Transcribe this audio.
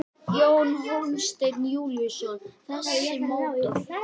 Jón Hólmsteinn Júlíusson: Þessi mótor?